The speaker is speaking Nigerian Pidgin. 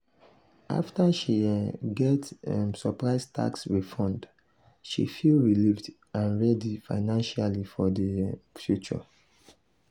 afta she um get um surprise tax refund she feel relieved and ready financially for di um future.